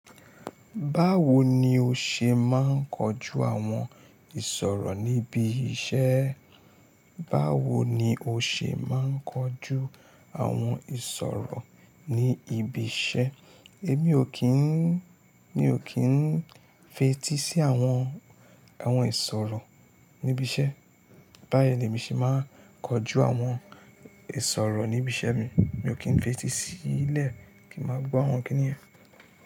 Báwo ni o ṣe máa ń kojú àwọn ìṣòro níbi iṣẹ́? Báwo ni o ṣe máa ń kojú àwọn ìṣòro ní ibi iṣẹ́? Èmi ò kí ń, mi ò kí ń fetí sí àwọn, àwọn ìṣòro níbi iṣẹ́. Báyìí ni èmi ṣì máa ń kojú àwọn ìṣòro níbi iṣẹ́ mi. Mi ò kí ń fetí sí ilẹ̀ kí ń máa gbọ́ àwọn kìni iyen.